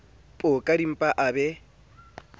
po ka dimpa a be